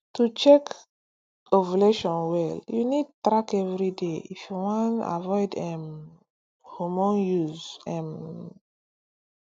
to check ovulation well you need track everyday if you wan avoid um hormone use um